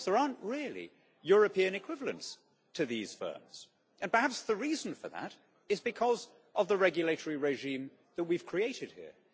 Of course there aren't really European equivalents to these firms, and perhaps the reason for that is because of the regulatory regime that we've created here.